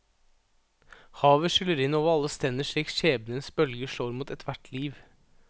Havet skyller inn over alle strender slik skjebnens bølger slår mot ethvert liv.